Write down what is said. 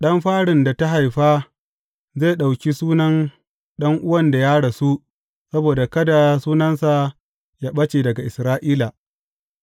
Ɗan farin da ta haifa zai ɗauki sunan ɗan’uwan da ya rasu saboda kada sunansa yă ɓace daga Isra’ila.